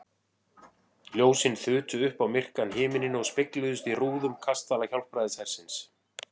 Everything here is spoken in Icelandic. Ljósin þutu upp á myrkan himininn og spegluðust í rúðum kastala Hjálpræðishersins.